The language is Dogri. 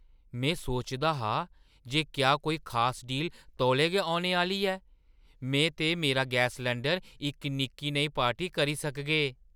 में सोचदा हा जे क्या कोई खास डील तौले गै औने आह्‌ली ऐ। में ते मेरा गैस सलैंडर इक निक्की नेही पार्टी करी सकगे!